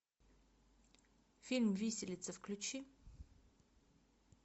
фильм виселица включи